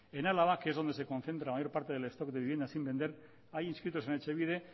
en álava que es donde se concentra el mayor parte del stock de viviendas sin vender hay inscritos en etxebide